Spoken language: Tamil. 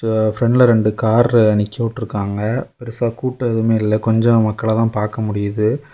பிரன்ட்ல ரெண்டு கார் அ நிக்க விட்ருகாங்க பெருசா கூட்டம் எதும் இல்ல கொஞ்சம் மக்கள் அ தான் பாக்க முடியுது.